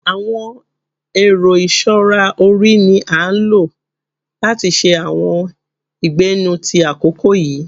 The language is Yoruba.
Àwọn ẹ̀rọ ìṣọra orí ni a o lo lati ṣe àwọn ìgbẹ́nú ti àkókò yìí.